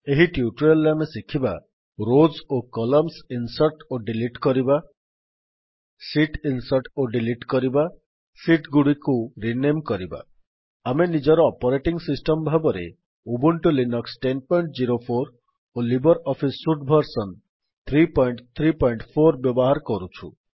ଏହି ଟ୍ୟୁଟୋରିଆଲ୍ ରେ ଆମେ ଶିଖିବା ରୋଜ୍ ଓ କଲମ୍ନସ୍ ଇନ୍ସର୍ଟ୍ ଓ ଡିଲିଟ୍ କରିବା ଶୀଟ୍ ଇନ୍ସର୍ଟ୍ ଓ ଡିଲିଟ୍ କରିବା ଶୀଟ୍ ଗୁଡିକୁ ରିନେମ୍ପୁନଃ ନାମକରଣ କରିବା ଆମେ ନିଜର ଅପରେଟିଙ୍ଗ୍ ସିଷ୍ଟମ୍ ଭାବରେ ଉବୁଣ୍ଟୁ ଲିନକ୍ସ ୧୦୦୪ ଓ ଲିବର ଅଫିସ୍ ସୁଟ୍ ଭର୍ସନ୍ ୩୩୪ ବ୍ୟବହାର କରୁଛୁ